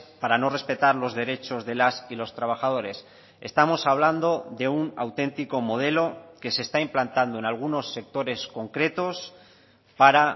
para no respetar los derechos de las y los trabajadores estamos hablando de un auténtico modelo que se está implantando en algunos sectores concretos para